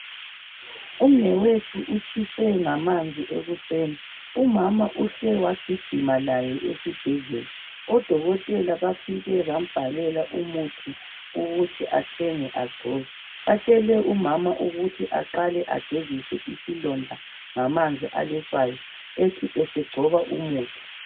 Umnewethu utshiswe ngamanzi ebusweni umama uhle wagijima laye esibhedlela. odokotela bafike bambhalela umuthi ukuthi athenge agcobe. Batshele umama ukuthi aqale agezise isilonda ngamanzi aletshwayi ethi esegcoba umuthi.